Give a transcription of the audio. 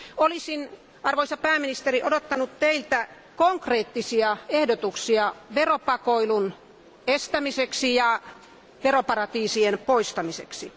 Olisin, arvoisa pääministeri, odottanut Teiltä konkreettisia ehdotuksia veropakoilun estämiseksi ja veroparatiisien poistamiseksi.